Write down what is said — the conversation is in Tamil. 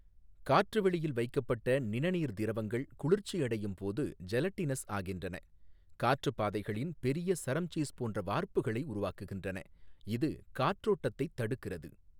காற்றுவெளியில் வைக்கப்பட்ட நிணநீர் திரவங்கள் குளிர்ச்சியடையும் போது ஜெலட்டினஸ் ஆகின்றன, காற்றுப்பாதைகளின் பெரிய சரம் சீஸ் போன்ற வார்ப்புகளை உருவாக்குகின்றன, இது காற்றோட்டத்தைத் தடுக்கிறது.